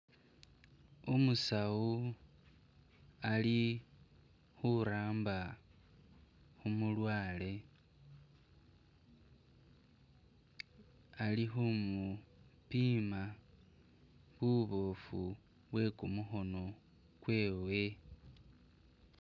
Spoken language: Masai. Umusawu ali khuramba khu mulwaale, ali khumupima buboofu bwe kumukhono kwewe.